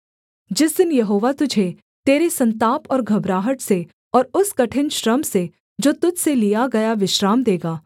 जिस दिन यहोवा तुझे तेरे सन्ताप और घबराहट से और उस कठिन श्रम से जो तुझ से लिया गया विश्राम देगा